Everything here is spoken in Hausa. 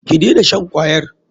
Ki dena shan kwayar.